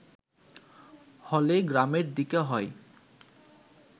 হলে গ্রামের দিকে হয়